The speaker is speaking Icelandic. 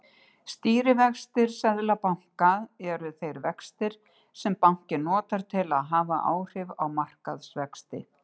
Stýrivextir seðlabanka eru þeir vextir sem bankinn notar til að hafa áhrif á markaðsvexti.